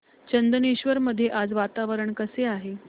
चंदनेश्वर मध्ये आज वातावरण कसे आहे